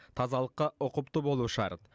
тазалыққа ұқыпты болу шарт